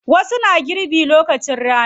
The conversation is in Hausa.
Wasu na girbi lokacin rani.